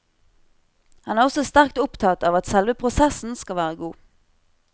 Han er også sterkt opptatt av at selve prosessen skal være god.